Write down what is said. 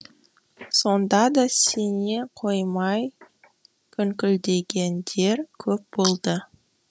сонда да сене қоймай күңкілдегендер көп болды